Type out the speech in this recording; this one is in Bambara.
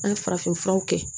An ye farafin furaw kɛ